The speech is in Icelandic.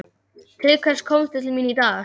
Til hvers komstu til mín í dag?